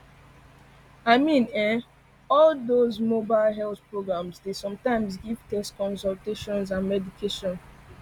i mean[um]all dox mobile health programs dey sometimes give tests consultations and medication